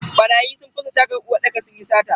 Barayi sun fasa tagan uwarɗakar sunyi sata.